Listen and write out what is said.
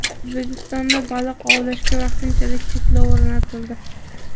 O‘zbekistonda baliq ovlashga vaqtinchalik cheklov o‘rnatildi.